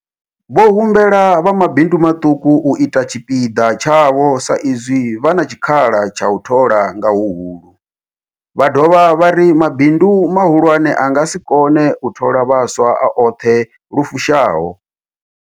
Vho humbela vha mabindu maṱuku u ita tshipiḓa tshavho sa izwi vha na tshikhala tsha u thola nga huhulu, vha dovha vha ri mabindu mahulwane a nga si kone u thola vhaswa a oṱhe lu fushaho.